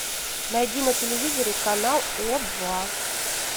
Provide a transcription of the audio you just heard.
найди на телевизоре канал о два